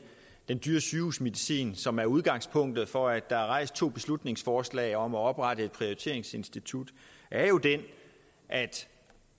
den dyre sygehusmedicin som er udgangspunktet for at der er fremsat to beslutningsforslag om at oprette et prioriteringsinstitut er jo den at